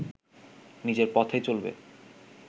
নিজের পথেই চলবে